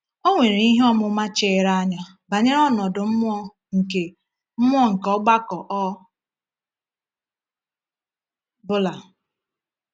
O nwere ihe ọmụma chiri anya banyere ọnọdụ mmụọ nke mmụọ nke ọgbakọ ọ bụla.